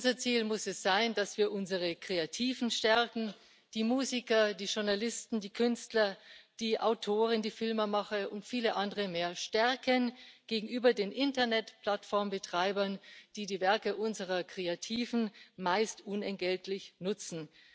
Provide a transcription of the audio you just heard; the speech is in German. Unser Ziel muss es sein, dass wir unsere Kreativen die Musiker, die Journalisten, die Künstler, die Autoren, die Filmemacher und viele andere mehr stärken gegenüber den Internetplattformbetreibern, die die Werke unserer Kreativen meist unentgeltlich nutzen.